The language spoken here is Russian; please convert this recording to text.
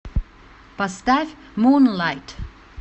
поставь мунлайт